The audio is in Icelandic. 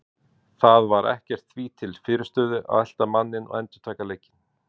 Það var ekkert því til fyrirstöðu að elta manninn og endurtaka leikinn.